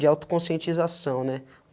de autoconscientização, né?